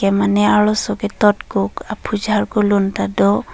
mane arloso ke tot kuk aphu charkup lun ta do.